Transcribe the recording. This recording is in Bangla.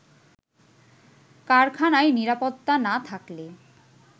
কারখানায় নিরাপত্তা না থাকলে